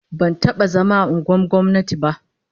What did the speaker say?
Ban taba zama a unguwannin gwamnati ba